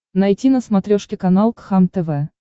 найти на смотрешке канал кхлм тв